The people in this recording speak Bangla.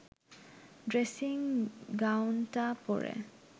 ড্রেসিং গাউনটা পরে